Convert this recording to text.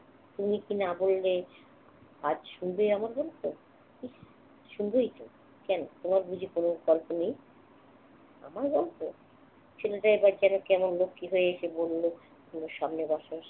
তুমি কি না বললে, আজ শুনবে আমার গল্প? ইস্ শুনবোই তো। কেন, তোমার বুঝি কোনো গল্প নেই? আমার গল্প! ছেলেটা এবার যেন কেমন লক্ষ্মী হয়ে এসে বলল, তোমার সামনের আকাশ